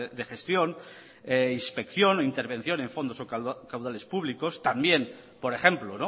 de gestión inspección o intervención en fondos o caudales públicos también por ejemplo